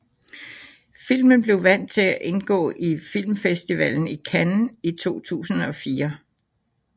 Filmen blev valgt til at indgå i Filmfestivalen i Cannes i 2004